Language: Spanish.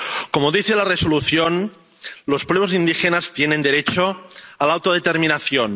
Como dice la Resolución, los pueblos indígenas tienen derecho a la autodeterminación.